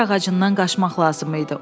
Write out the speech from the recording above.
Dar ağacından qaçmaq lazım idi.